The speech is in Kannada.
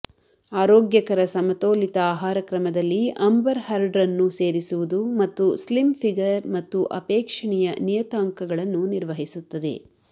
ಆರೋಗ್ಯಕರ ಸಮತೋಲಿತ ಆಹಾರಕ್ರಮದಲ್ಲಿ ಅಂಬರ್ ಹರ್ಡ್ರನ್ನು ಸೇರಿಸುವುದು ಮತ್ತು ಸ್ಲಿಮ್ ಫಿಗರ್ ಮತ್ತು ಅಪೇಕ್ಷಣೀಯ ನಿಯತಾಂಕಗಳನ್ನು ನಿರ್ವಹಿಸುತ್ತದೆ